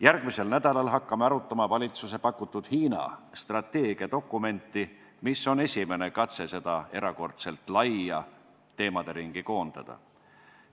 Järgmisel nädalal hakkame arutama valitsuse pakutud Hiina-strateegia dokumenti, mis on esimene katse seda erakordselt laia teemaringi koondada.